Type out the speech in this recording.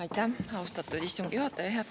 Aitäh, austatud istungi juhataja!